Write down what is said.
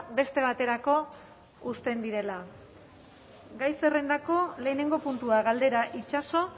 beste baterako uzten direla gai zerrendako lehenengo puntua galdera itsaso